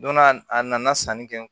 Donna a nana sanni kɛ